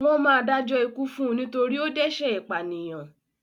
Wọ́n máa dájọ́ ikú fún un nítorí ó dẹ́ṣẹ̀ ìpànìyàn.